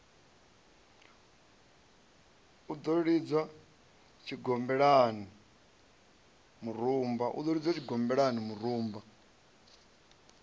u no lidzwa tshigombelani murumba